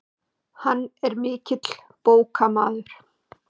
Hann er mikill bókamaður.